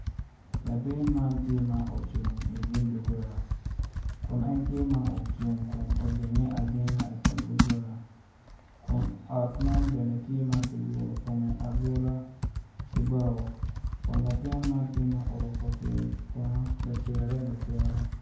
Latin man tye ma ocung inyim duggola kun en tye ma ocung kun ojenge ajenga i kom duggola kun ot man bene tye ma ki guru kome agura ki bao kun latin man oruku pye bongo lacere lacere